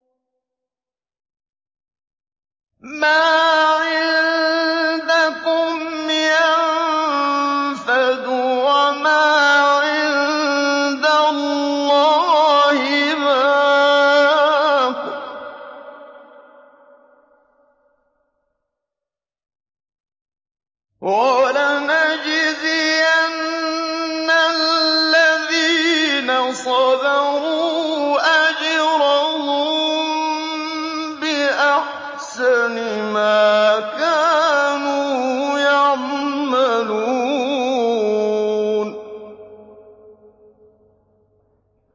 مَا عِندَكُمْ يَنفَدُ ۖ وَمَا عِندَ اللَّهِ بَاقٍ ۗ وَلَنَجْزِيَنَّ الَّذِينَ صَبَرُوا أَجْرَهُم بِأَحْسَنِ مَا كَانُوا يَعْمَلُونَ